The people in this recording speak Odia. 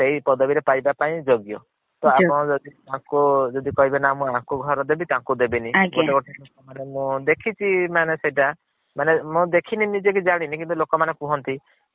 ସେଇ ପଦବୀ ରେ ପାଇବା ପାଇଁ ଯୋଗ୍ୟ। ତ ଆପଣ ଯଦି କହିବେ ମୁଁ ୟାଙ୍କ ଘର ଦେବୀ ତାଙ୍କୁ ଦେବିନି ଆଜ୍ଞା। ମାନେ ମୁଁ ଦେଖିଛି ମାନେ ସେଇଟା ମାନେ ମୁଁ ଦେଖିନି ନିଜେ କି ଜାଣିନି କିନ୍ତୁ ଲୋକ ମାନେ କୁହନ୍ତି